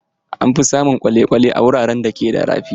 An fi samun kwale-kwale a wuraren da ke da rafi.